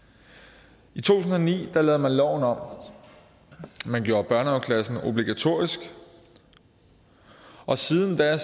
i to tusind og ni lige lavede man loven om man gjorde børnehaveklassen obligatorisk at siden da